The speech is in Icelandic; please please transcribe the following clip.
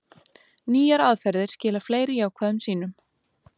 Nýjar aðferðir skila fleiri jákvæðum sýnum